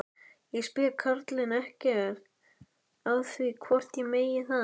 Ég spyr karlinn ekkert að því hvort ég megi það.